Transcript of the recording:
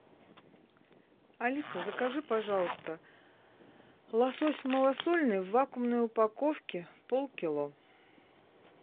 алиса закажи пожалуйста лосось малосольный в вакуумной упаковке полкило